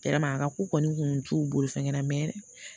a ka ko kɔni kun t'u bolo fɛn kɛ la